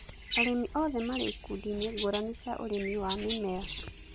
arĩmi othe marĩ ikundi-inĩ ngũrani cia ũrĩmi wa mĩmera